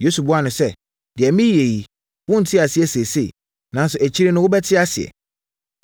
Yesu buaa no sɛ, “Deɛ mereyɛ yi, worente aseɛ seesei, nanso akyire no wobɛte aseɛ.”